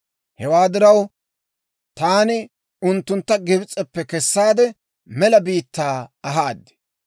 Hewaa diraw, taani unttuntta Gibs'eppe kessaade, mela biittaa ahaad.